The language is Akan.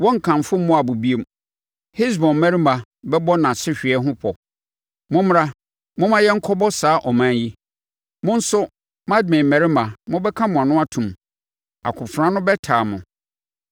Wɔrenkamfo Moab bio; Hesbon mmarima bɛbɔ nʼasehweɛ ho pɔ; ‘Mommra, momma yɛn nkɔbɔ saa ɔman yi.’ Mo nso, Madmen mmarima mobɛka mo ano atom; akofena no bɛtaa mo.